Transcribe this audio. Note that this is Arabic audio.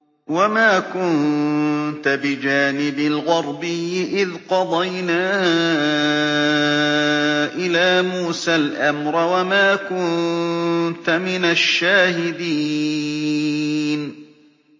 وَمَا كُنتَ بِجَانِبِ الْغَرْبِيِّ إِذْ قَضَيْنَا إِلَىٰ مُوسَى الْأَمْرَ وَمَا كُنتَ مِنَ الشَّاهِدِينَ